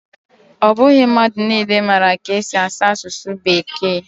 Ọ bụghị mmadụ niile maara ka esi asụ asụsụ Bekee